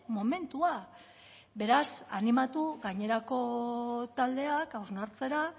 momentua beraz animatu gainerako taldeak hausnartzera